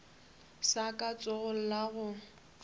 sa ka letsogong la go